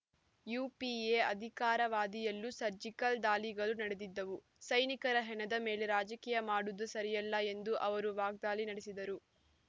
UPA ಅಧಿಕಾರಾವಧಿಯಲ್ಲೂ surgical ದಾಳಿಗಳು ನಡೆದಿದ್ದವು ಸೈನಿಕರ ಹೆಣದ ಮೇಲೆ ರಾಜಕೀಯ ಮಾಡುವುದು ಸರಿಯಲ್ಲ ಎಂದು ಅವರು ವಾಗ್ದಾಳಿ ನಡೆಸಿದರು